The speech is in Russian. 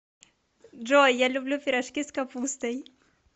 джой я люблю пирожки с капустой